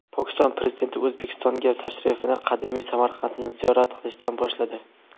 Pokiston Prezidenti O‘zbekistonga tashrifini qadimiy Samarqandni ziyorat qilishdan boshladi.